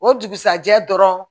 O dugusɛjɛ dɔrɔn